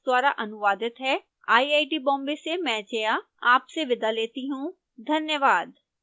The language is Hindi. यह स्क्रिप्ट विकास द्वारा अनुवादित है आईआईटी बॉम्बे से मैं जया आपसे विदा लेती हूँ धन्यवाद